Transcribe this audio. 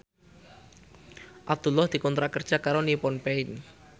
Abdullah dikontrak kerja karo Nippon Paint